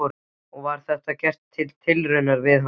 Og var þetta gert til raunar við hann.